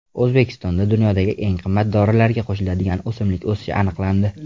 O‘zbekistonda dunyodagi eng qimmat dorilarga qo‘shiladigan o‘simlik o‘sishi aniqlandi.